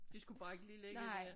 De skulle bare ikke lige ligge dér